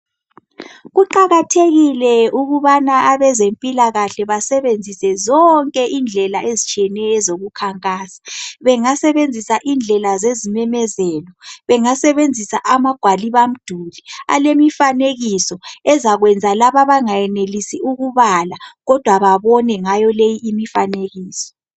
Kuqakathekile ukubana abezempilakahle basebenzisa zonke indlela ezitshiyeneyo ezokukhankasa bengasebenzisa indlela zezimemezelo bengasebenzisa amagwalibamduli alemifanekiso ezakwenza laba abangayenelisi ukubala kodwa babone ngayo leyi imifanekiso.